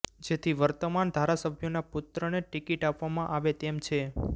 જેથી વર્તમાન ધારાસભ્યોના પુત્રને ટિકિટ આપવામાં આવે તેમ છે